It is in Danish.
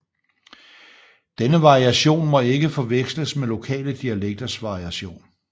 Denne variation må ikke forveksles med lokale dialekters variation